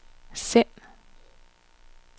send